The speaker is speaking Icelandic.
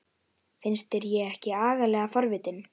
Finnst þér ég ekki agalega forvitin?